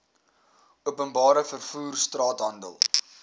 openbare vervoer straathandel